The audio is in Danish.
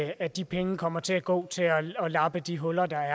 at de penge kommer til at gå til at lappe de huller der